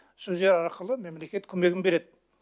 сол жағы арқылы мемлекет көмегін береді